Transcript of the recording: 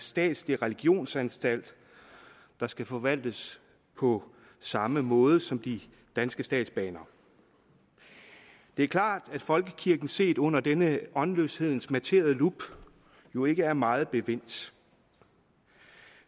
statslig religionsanstalt der skal forvaltes på samme måde som de danske statsbaner det er klart at folkekirken set under denne åndløshedens matterede lup jo ikke er meget bevendt